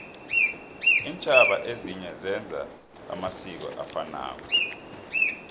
intjhaba ezinye zenza amasiko afanako